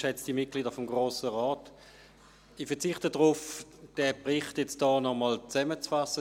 Ich verzichte darauf, den Bericht hier nochmals zusammenzufassen.